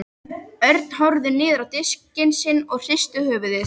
Örn horfði niður á diskinn sinn og hristi höfuðið.